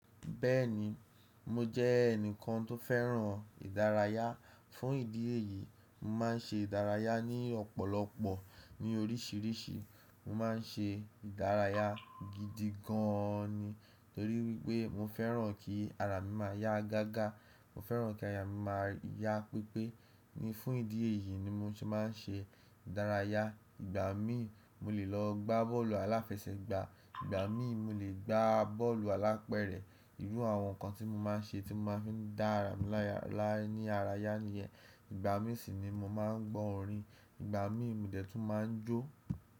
Bẹ́ẹ̀ni, mo jẹ́ ẹnìkan tó fẹ́ràn ìdárayá. Fún ìdí èyí, mo má n ṣe ìdárayá ní ọ̀pọ̀lọpọ̀ ní orísìírísìí. Mo má n ṣe ìdárayá gidi gan ni torí wípé mo fẹ́ràn kí ara mi máa yá gágá. Mo fẹ́ràn kí aya mi máa yá pípé. Ni fún ìdí èyí ni mo se máa n ṣe ìdárayá. Ìgbà mií, mo lè lọ gbá bọ́ọ̀lù aláfẹsẹ̀gbá, ìgbà míi mo lè gbá bọ́ọ̀lù alápẹ̀rẹ̀. Irú àwọn nǹkan tí mo má n ṣe tí mo máa fi n dá ara mi láyá la ní ara yá niyẹn. Ìgbà mii sì ni mo má n gbọ́ orin. Ìgbà mií mi dẹ̀ tún máa ń jó.